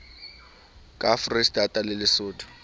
ka foreisetata le lesotho e